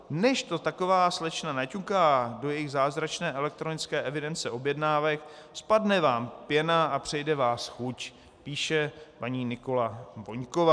Než to taková slečna naťuká do jejich zázračné elektronické evidence objednávek, spadne vám pěna a přejde vás chuť, píše paní Nikola Voňková.